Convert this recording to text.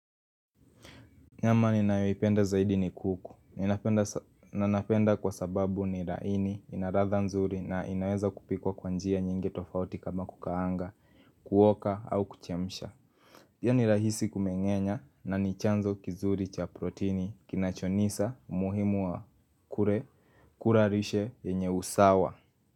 Nyama ninayoipenda zaidi ni kuku, nanapenda kwa sababu ni raini, inaladha nzuri na inaweza kupikwa kwa njia nyingi tofauti kama kukaanga, kuoka au kuchemsha Pia ni rahisi kumengenya na ni chanzo kizuri cha proteini kinachonisa muhimu wa kure kurarishe yenye usawa.